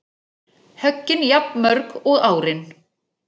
Höggin jafnmörg og árin